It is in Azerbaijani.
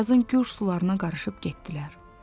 Arazın gur sularına qarışıb getdilər.